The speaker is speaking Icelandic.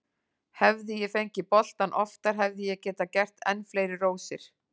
Hefði ég fengið boltann oftar hefði ég getað gert enn fleiri rósir.